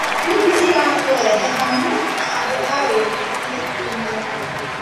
Ndini ĩratũrehe hamwe na andũ a wĩtĩkia ũmwe.